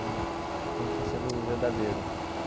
Num num estou sendo verdadeiro.